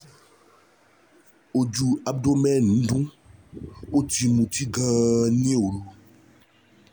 Ojú abdomen ń dun, ó ti mutí gan-an ní òru